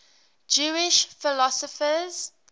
jewish philosophers